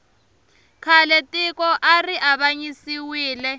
khale tiko ari avanyisiwile